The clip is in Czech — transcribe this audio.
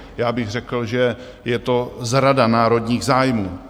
Já bych řekl, že je to zrada národních zájmů.